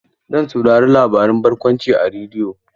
Zan saurari labaren barkwanci a rediyo.